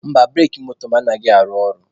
Mba, bureki moto m anaghị arụ ọrụ.